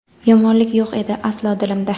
Yomonlik yo‘q edi aslo dilimda.